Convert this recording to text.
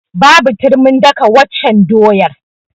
Babu turmin daka waccan doyar.